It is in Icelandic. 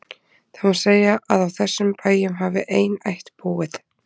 Það má segja að á þessum bæjum hafi ein ætt búið.